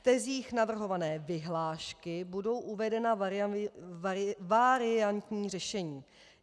V tezích navrhované vyhlášky budou uvedena variantní řešení.